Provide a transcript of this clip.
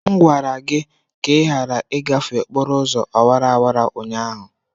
M gwara gị ka ị ghara ịgafe okporo ụzọ awara awara ụnyaahụ!